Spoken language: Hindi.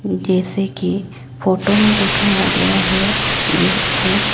जैसे की फोटो में दिखाया गया है ये एक--